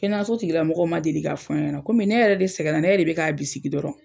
Kɛnɛyaso tigila mɔgɔw ma deli k'a fɔ ɲɛna komi ne yɛrɛ de sɛgɛnna, ne yɛrɛ de be k'a bisigi dɔrɔn.